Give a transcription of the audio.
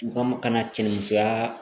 U ka kana cɛnin musoya